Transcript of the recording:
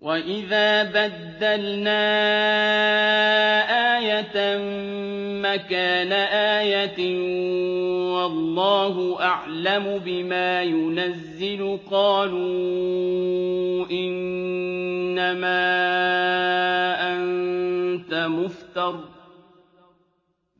وَإِذَا بَدَّلْنَا آيَةً مَّكَانَ آيَةٍ ۙ وَاللَّهُ أَعْلَمُ بِمَا يُنَزِّلُ قَالُوا إِنَّمَا أَنتَ مُفْتَرٍ ۚ